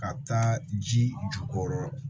Ka taa ji jukɔrɔ